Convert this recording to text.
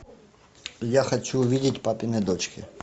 я хочу увидеть папины дочки